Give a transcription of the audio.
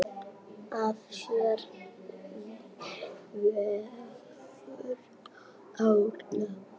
Að sér vefur Árna betur